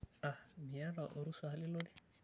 Aah, miyata orusa lilotie.